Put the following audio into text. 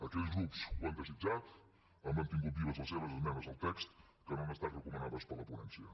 aquells grups que ho han desitjat han mantingut vives les seves esmenes al text que no han estat recomanades per la ponència